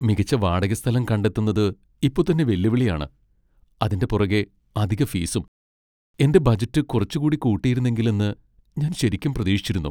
മികച്ച വാടക സ്ഥലം കണ്ടെത്തുന്നത് ഇപ്പൊ തന്നെ വെല്ലുവിളിയാണ്, അതിന്റെ പുറകെ അധിക ഫീസും. എന്റെ ബജറ്റ് കുറച്ചുകൂടി കൂട്ടിയിരുന്നെങ്കിൽ എന്ന് ഞാൻ ശരിക്കും പ്രതീക്ഷിച്ചിരുന്നു.